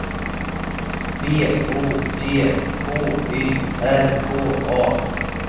B O T K Y R K A